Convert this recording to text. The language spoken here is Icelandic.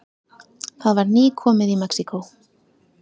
Það var nýkomið í Mexíkó.